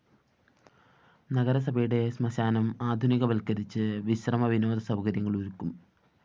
നഗരസഭയുടെ ശ്മശാനം ആധുനിക വല്‍ക്കരിച്ച് വിശ്രമ വിനോദ സൗകര്യങ്ങള്‍ ഒരുക്കും